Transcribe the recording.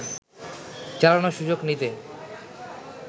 চালানোর সুযোগ নিতে